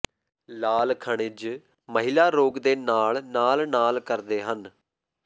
ਲਾਲ ਖਣਿਜ ਮਹਿਲਾ ਰੋਗ ਦੇ ਨਾਲ ਨਾਲ ਨਾਲ ਕਰਦੇ ਹਨ